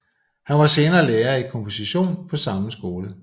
Han var senere lærer i komposition på samme skole